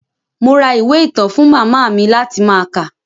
Mo ra ìwé ìtàn fún màmá mi láti máa kà.